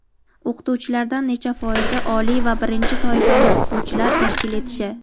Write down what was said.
o‘qituvchilardan necha foizi oliy va birinchi toifali o‘qituvchilar tashkil etishi);.